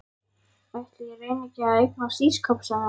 Ætli ég reyni ekki að eignast ísskáp sagði amma.